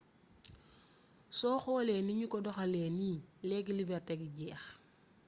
soo xoolee ni ñu ko doxalee nii leegi leberti gi jeex